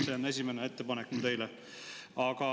See on minu ettepanek teile.